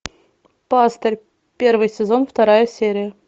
пастырь первый сезон вторая серия